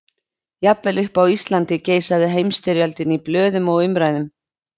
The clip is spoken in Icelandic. Jafnvel uppi á Íslandi geisaði Heimsstyrjöldin í blöðum og umræðum.